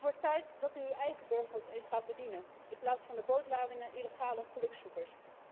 Het wordt tijd dat u uw eigen burgers eens gaat bedienen in plaats van de bootladingen illegale gelukzoekers.